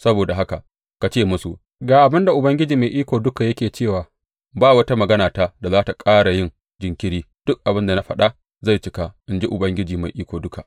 Saboda haka ka ce musu, Ga abin da Ubangiji Mai Iko Duka yake cewa ba wata maganata da za tă ƙara yin jinkiri; duk abin da na faɗa zai cika, in ji Ubangiji Mai Iko Duka.